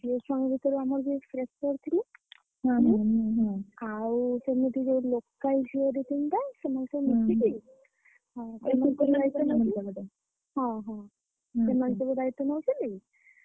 ଝିଅ ଛୁଆ ମାନେ ଆମର ଯୋଉ fresher local ଝିଅ ଦିତିନଟା ସେମାନେ ସବୁ ମିଶିକି।